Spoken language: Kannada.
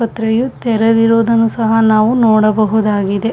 ಆಸ್ಪತ್ರೆಯು ತೆರೆದಿರುವುದನ್ನು ಸಹ ನಾವು ನೋಡಬಹುದಾಗಿದೆ.